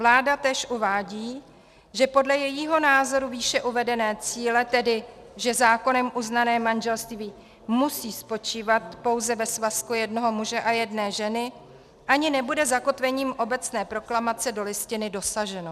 Vláda též uvádí, že podle jejího názoru výše uvedeného cíle, tedy že zákonem uznané manželství musí spočívat pouze ve svazku jednoho muže a jedné ženy, ani nebude zakotvením obecné proklamace do Listiny dosaženo.